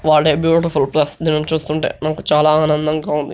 wow what a beautiful place దినిని చూస్తుంటే మనకు చాలా ఆనందంగా ఉంది